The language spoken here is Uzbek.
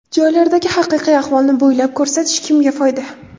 Joylardagi haqiqiy ahvolni bo‘yab ko‘rsatish kimga foyda?